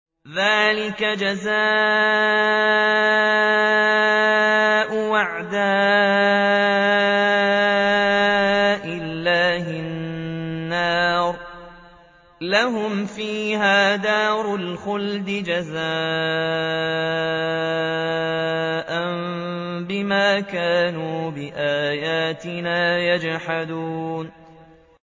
ذَٰلِكَ جَزَاءُ أَعْدَاءِ اللَّهِ النَّارُ ۖ لَهُمْ فِيهَا دَارُ الْخُلْدِ ۖ جَزَاءً بِمَا كَانُوا بِآيَاتِنَا يَجْحَدُونَ